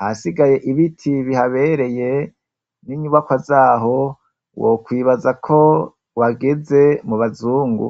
ahasigaye ibiti bihabereye n'inyubakwa zaho wokwibaza ko wageze mu bazungu.